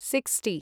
sixty